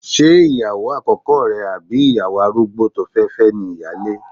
Ṣé ìyàwó àkọ́kọ́ rẹ àbí ìyàwó arúgbó tó fẹ́ fẹ́ ni ìyáálé?